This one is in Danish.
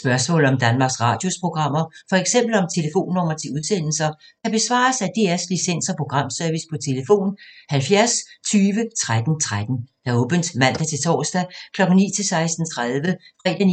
Spørgsmål om Danmarks Radios programmer, f.eks. om telefonnumre til udsendelser, kan besvares af DR Licens- og Programservice: tlf. 70 20 13 13, åbent mandag-torsdag 9.00-16.30, fredag